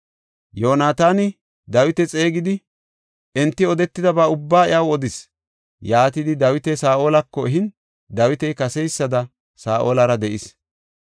Yoonataani Dawita xeegidi enti odetidaba ubbaa iyaw odis. Yaatidi Dawita Saa7olako ehin Dawiti kaseysada Saa7olara de7is.